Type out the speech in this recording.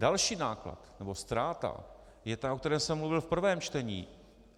Další náklad nebo ztráta je ta, o které jsem mluvil v prvém čtení.